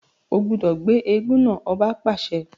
O gbọdọ gbé èègún náà! ọba paṣẹ